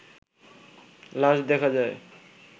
লাশ দেখা যায়